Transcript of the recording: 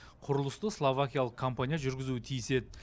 құрылысты словакиялық компания жүргізуі тиіс еді